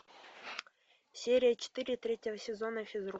серия четыре третьего сезона физрук